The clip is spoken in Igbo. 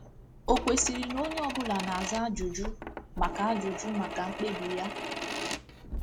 O kwesịrị na onye ọbụla na-aza ajụjụ maka ajụjụ maka mkpebi ya?